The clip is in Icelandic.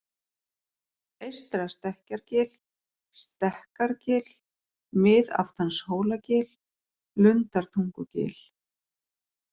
Eystra-Stekkjargil, Stekkargil, Miðaftanshólagil, Lundartungugil